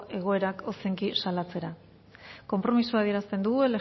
egoerak ozenki salatzera konpromisoa adierazten dugu